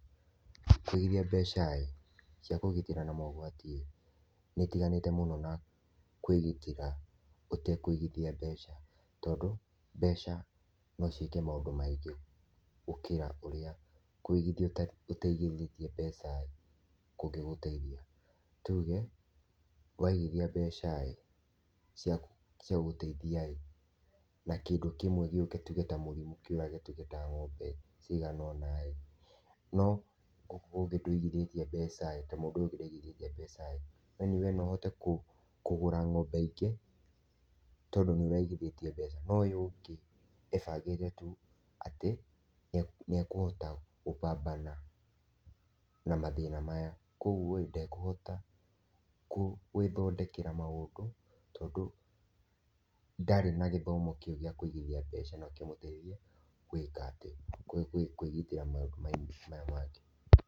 Kũigithia mbeca-ĩ cia kũgitĩra na mogwati nĩ ĩtiganĩte mũno na kwĩgitĩra ũtekwĩgithia mbeca tondũ mbeca no ciĩke maũndũ maĩngĩ gũkĩra ũrĩa kũigithia ũtaigĩthĩtie mbeca kũngĩgũteithia. Tuge waĩgithia mbeca-ĩ cia gũgũteithia-ĩ na kĩndũ kimwe gĩũke tũge ta mũrĩmu kiorage tũge ta ng'ombe cigana-ona no oko ndũigithĩtie mbeca na mũndũ uyu ũngi ndaigĩthĩtie mbeca-ĩ yaani we no ũhote kũgũra ng'ombe ĩngĩ tondũ niũraigithĩtie mbeva no uyu ũngĩ ebangĩte tu atĩ nĩ ekũhota kũbambana na mathĩna maya kwa ũgũo ndekũhota gwĩthondekera maũndũ tondũ ndarĩ na gĩthomo kĩu gĩa kũigithia mbeca nokĩmũteithie gwĩka atĩ kwĩgitĩra maũndũ maya mangĩ.